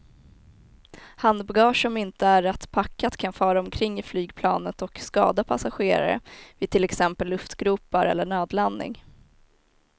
Handbagage som inte är rätt packat kan fara omkring i flygplanet och skada passagerare vid till exempel luftgropar eller nödlandning.